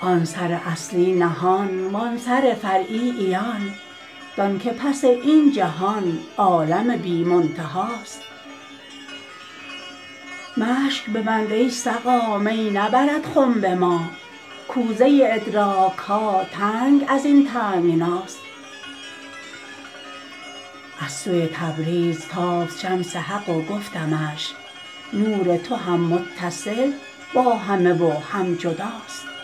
آن سر اصلی نهان وان سر فرعی عیان دانک پس این جهان عالم بی منتهاست مشک ببند ای سقا می نبرد خنب ما کوزه ادراک ها تنگ از این تنگناست از سوی تبریز تافت شمس حق و گفتمش نور تو هم متصل با همه و هم جداست